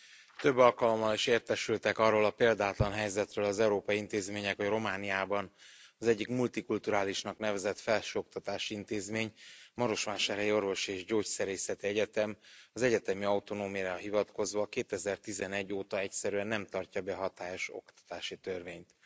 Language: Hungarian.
Tisztelt Elnök úr! Több alkalommal is értesültek arról a példátlan helyzetről az európai intézmények, hogy Romániában az egyik multikulturálisnak nevezett felsőoktatási intézmény, a Marosvásárhelyi Orvosi és Gyógyszerészeti Egyetem az egyetemi autonómiára hivatkozva 2011 óta egyszerűen nem tartja be a hatályos oktatási törvényt.